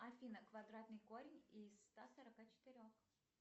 афина квадратный корень из ста сорока четырех